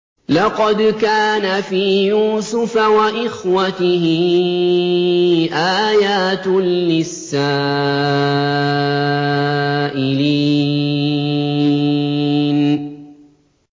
۞ لَّقَدْ كَانَ فِي يُوسُفَ وَإِخْوَتِهِ آيَاتٌ لِّلسَّائِلِينَ